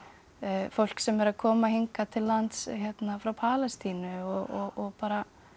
fólk sem er að koma hingað til lands frá Palestínu og bara